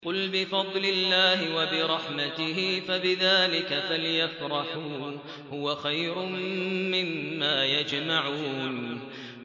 قُلْ بِفَضْلِ اللَّهِ وَبِرَحْمَتِهِ فَبِذَٰلِكَ فَلْيَفْرَحُوا هُوَ خَيْرٌ مِّمَّا يَجْمَعُونَ